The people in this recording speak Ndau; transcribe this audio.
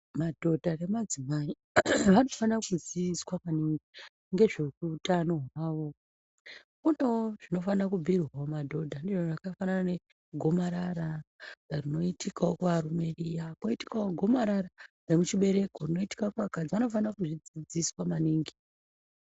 Madhodha nemadzimai, vanofana kuziiswa maningi ngezve utano hwawo. Kunewo zvinofana kubhiirwawo madhodha ndizvo zvakafanana negomarara rinoitikawo kuvarume riya kwoitikawo gomarara remuchibereko rinoitikawo kumadzimai riya, vanofane kuzvidzidziswa maningi.